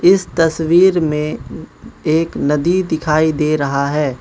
इस तस्वीर में एक नदी दिखाई दे रहा है।